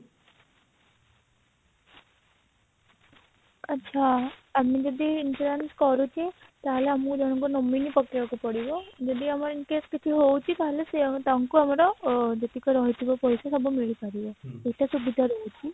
ଆଚ୍ଛା ଆମେ ଯଦି insurance କରୁଚି ତାହେଲେ ଆମକୁ ଜଣଙ୍କୁ nominee ପକେଇବାକୁ ପଡିବ ଯଦି ଆମର incase କିଛି ହଉଛି ତାହେଲେ ସିଏ ତାଙ୍କୁ ଆମର ଯେତିକି ରହୁଛି ପଇସା ସବୁ ମିଳିପାରିବ ସେଟା ସୁବିଧା ରହୁଛି